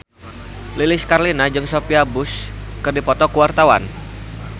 Lilis Karlina jeung Sophia Bush keur dipoto ku wartawan